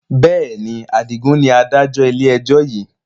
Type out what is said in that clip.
Bẹ́ẹ̀ni, Adigun ni Adájọ́ ilé ẹjọ́ yiii